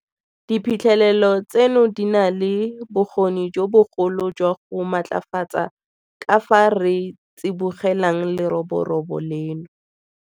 Diphitlhelelo tseno di na le bokgoni jo bogolo jwa go matlafatsa ka fao re tsibogelang leroborobo leno.